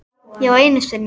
Já, einu sinni.